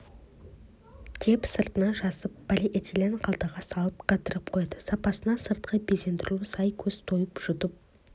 деп сыртына жазып полиэтилен қалтаға салып қатырып қояды сапасына сыртқы безендірілуі сай көз тойып жұтып